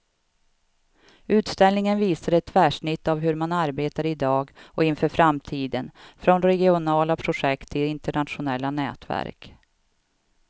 Utställningen visar ett tvärsnitt av hur man arbetar i dag och inför framtiden, från regionala projekt till internationella nätverk.